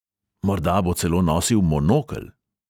Morda bo celo nosil monokel.